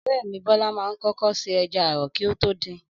Ọ̀rẹ́ mi Bọ́lá ma ń kókó ṣe ẹja ààrọ kí o tó din